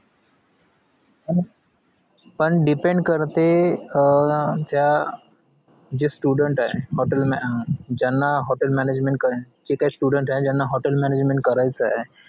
पण depend करते अं ज्या जे student ए hotel ma अं ज्यांना hotel management करण्याची जे काही student ए ज्यांना hotel management करायचा ए